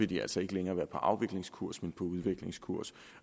de altså ikke længere være på afviklingskurs men på en udviklingskurs